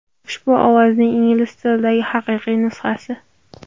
Ushbu ovozning ingliz tilidagi haqiqiy nusxasi.